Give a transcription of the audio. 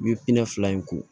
U ye fila in ko